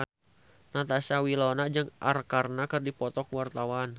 Natasha Wilona jeung Arkarna keur dipoto ku wartawan